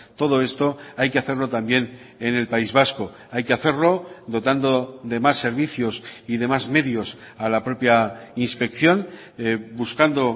todo esto hay que hacerlo también en el país vasco hay que hacerlo dotando de más servicios y demás medios a la propia inspección buscando